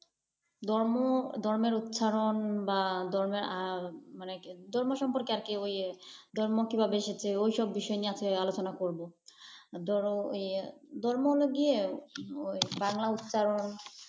ধর্ম, ধর্মের উচ্চারণ বা ধর্মের মানে ধর্ম সম্পর্কে আর কি ওই, ধর্ম কিভাবে এসেছে ওই সব বিষয় নিয়ে আর কি আলোচনা করবো। ধরো, ওই ধর্ম হল গিয়ে ওই বাংলা উচ্চারণ।